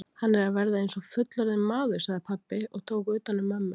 Hann er að verða eins og fullorðinn maður, sagði pabbi og tók utan um mömmu.